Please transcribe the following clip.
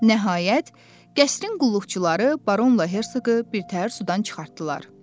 Nəhayət qəsrin qulluqçuları Baronla Hercoqu birtəhər sudan çıxartdılar.